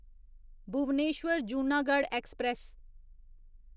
Bhubaneswar Junagadh express